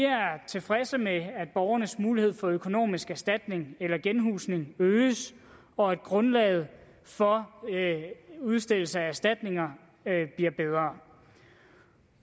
tilfredse med at borgernes mulighed for økonomisk erstatning eller genhusning øges og at grundlaget for udstedelse af erstatninger bliver bedre